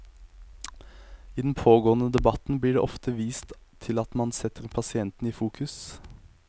I den pågående debatten blir det ofte vist til at man setter pasienten i fokus.